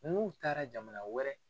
N'u taara jamana wɛrɛ.